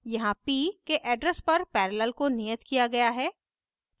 यहाँ p के address पर पैरेलल को नियत किया गया है